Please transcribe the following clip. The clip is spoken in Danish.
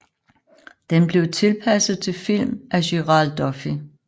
Den blev tilpasset til film af Gerald Duffy